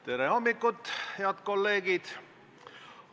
Tere hommikust, head kolleegid!